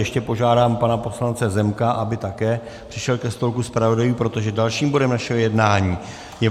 Ještě požádám pana poslance Zemka, aby také přišel ke stolku zpravodajů, protože dalším bodem našeho jednání je